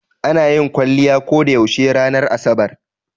Ana yin Waliyyai ko da yaushe ranar asabar.